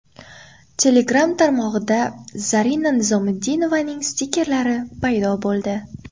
Telegram tarmog‘ida Zarina Nizomiddinovaning stikkerlari paydo bo‘ldi.